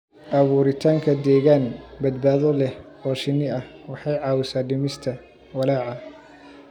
Abuuritaanka deegaan badbaado leh oo shinni ah waxay caawisaa dhimista walaaca.